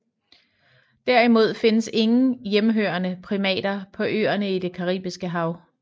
Derimod findes ingen hjemmehørende primater på øerne i det Caribiske hav